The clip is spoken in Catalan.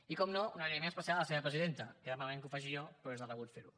i com no un agraïment especial a la seva presidenta queda malament que ho faci jo però és de rebut ferho